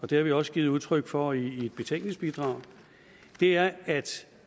det har vi også givet udtryk for i et betænkningsbidrag er at